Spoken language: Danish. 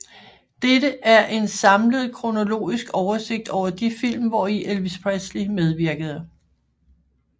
Dette er en samlet kronologisk oversigt over de film hvori Elvis Presley medvirkede